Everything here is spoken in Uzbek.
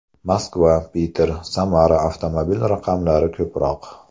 Moskva, Piter, Samara avtomobil raqamlari ko‘proq.